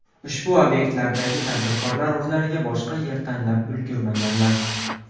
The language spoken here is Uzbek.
Ushbu obyektlardagi tadbirkorlar o‘zlariga boshqa yer tanlab ulgurmaganlar.